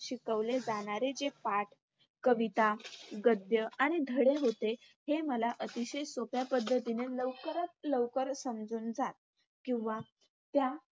शिकवले जाणारे जे पाठ, कविता, गद्य आणि धडे होते. हे मला अतिशय सोप्या पद्धतीने लवकरात लवकर समजून जात. किंवा